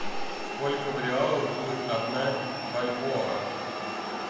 сколько в реалах будет одна бальбоа